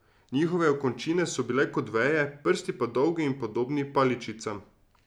Njihove okončine so bile kot veje, prsti pa dolgi in podobni paličicam.